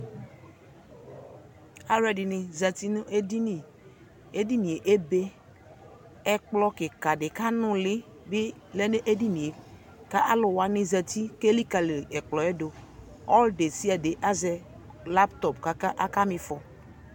aluɛ dini ʒati nu ediniedini ebe ɛkplɔ kikaa dibi ku anuli du edinie ku aluwani ʒati ku elikali ɛkplɔ du alu desiaɖe aʒɛ laptop ku aka mifɔ